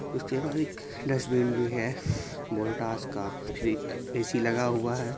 उसके बहार एक डस्टबिन भी हैं वोल्टास का ए_सी लगा हुआ ।